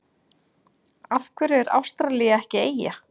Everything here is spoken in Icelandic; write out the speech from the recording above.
Af hverju er Ástralía ekki eyja?